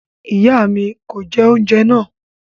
Iya mi kò jẹ oúnjẹ naa